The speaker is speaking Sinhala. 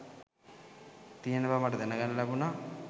තියෙන බව මට දැන ගන්න ලැබුණා